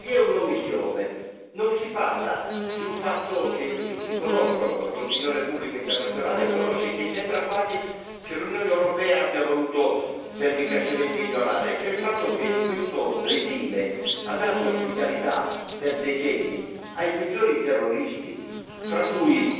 Ma vi è un'omissione non si parla di un fatto che tutti conoscono, che l'opinione pubblica internazionale conosce, che sembra quasi che l'Unione europea abbia voluto pervicacemente ignorare, e cioè il fatto che questo regime ha dato ospitalità per decenni ai peggiori terroristi, fra cui